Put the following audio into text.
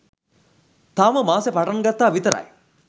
තාම මාසෙ පටන්ගත්තා විතරයි